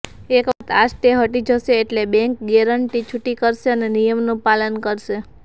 એક વખત આ સ્ટે હટી જશે એટલે બેન્ક ગેરન્ટી છૂટી કરશે અને નિયમનું પાલન કરશે